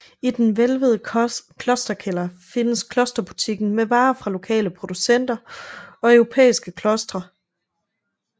I den hvælvede klosterkælder findes klosterbutikken med varer fra lokale producenter og europæiske klostre